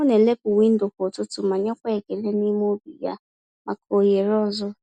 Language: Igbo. Ọ na-elepụ windo kwa ụtụtụ ma nyekwa ekele n’ime obi ya maka ohere ọzọ.